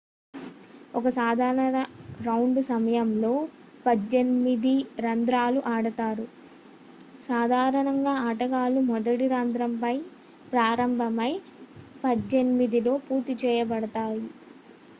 ఒక సాధారణ రౌండ్ సమయంలో పద్దెనిమిది రంధ్రాలు ఆడతారు సాధారణంగా ఆటగాళ్ళు మొదటి రంధ్రం పై ప్రారంభమై పద్దెనిమిదలో పూర్తి చేయబడతాయి